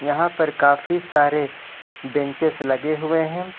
यहां पर काफी सारे बेंचेज लगे हुए हैं।